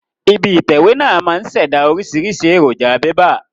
Ibi ìtẹ̀wé náà máa ń ṣẹ̀dá oríṣiríṣi èròjà bébà